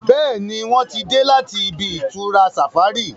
Béèni wón tí dé láti ibi-itura safari.